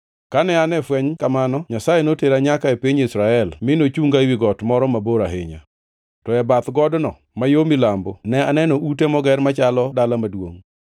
Kane an e fweny kamano, Nyasaye notera nyaka e piny Israel mi nochunga ewi got moro mabor ahinya. To e bath godno ma yo milambo ne aneno ute moger machalo dala maduongʼ.